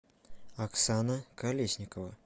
оксана колесникова